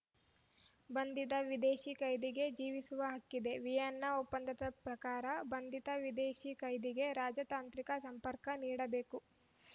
ಬಂಧಿತ ವಿದೇಶಿ ಕೈದಿಗೆ ಜೀವಿಸುವ ಹಕ್ಕಿದೆ ವಿಯೆನ್ನಾ ಒಪ್ಪಂದದ ಪ್ರಕಾರ ಬಂಧಿತ ವಿದೇಶೀ ಕೈದಿಗೆ ರಾಜತಾಂತ್ರಿಕ ಸಂಪರ್ಕ ನೀಡಬೇಕು